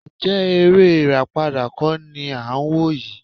Ǹjẹ́ eré ìràpadà kọ́ ni à ń wò yìí?